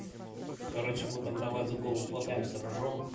короче мы там давай за голову хватаемся ржём